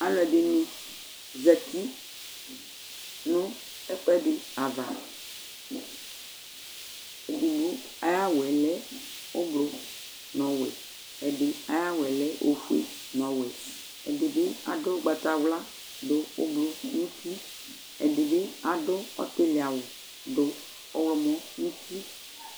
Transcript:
Alʊ ɛdɩnɩ zati nʊ ɛkʊɛdi ava Edigbo ayʊ awʊ lɛ ublu nʊ ɔwɛ Ɛdi ayʊ awʊ lɛ ofoe nʊ ɔwɛ Ɛdɩbɩ adʊ ʊgbatawlu dʊ ublu nʊ uti Ɛdɩbɩ adʊ ɔtɩlɩ awʊ dʊ ɔwlɔmɔ nʊ uti